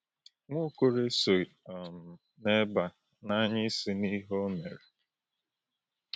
Nwaokolo esoghị um n’ebe a na-anya isi n’ihe o mere.